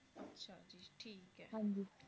ਹਾਂਜੀ